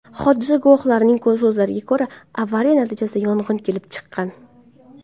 Hodisa guvohlarining so‘zlariga ko‘ra, avariya natijasida yong‘in kelib chiqqan.